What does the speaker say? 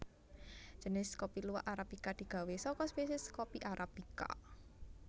Jinis kopi luwak arabika digawé saka spèsiès kopi arabica